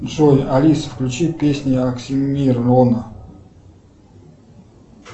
джой алиса включи песни оксимирона